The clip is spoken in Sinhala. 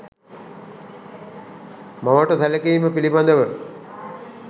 මවට සැලකීම පිළිබඳව